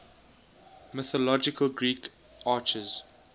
mythological greek archers